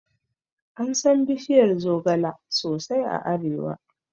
Ansan bishiyar zogala sosai a arewa